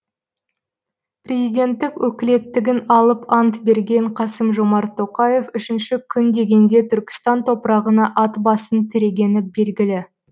президенттік өкілеттігін алып ант берген қасым жомарт тоқаев үшінші күн дегенде түркістан топырағына ат басын тірегені белгілі